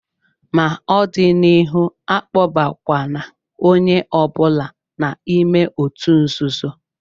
Ma n'ọdịnịhu, akpọbakwa na onye ọ bụla n'ime òtù nzuzo!